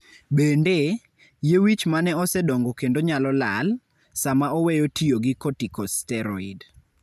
Bende, yie wich ma ne osedongo kendo nyalo lal, sama oweyo tiyo gi corticosteroid.